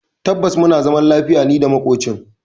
Tabbas muna zaman lafiya nida makocin.